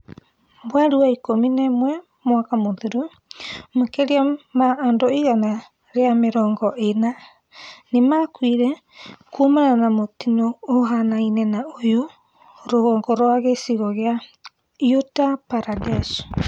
Mweri wa ikumi na umwe mwaka muthiru, makiria ma andu igana ria mirongo ina nimakuire kumana na mutino uhananne na uyu rugongo rwa gicigogia Uttar Pradesh.